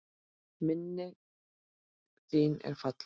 Minning þin er falleg.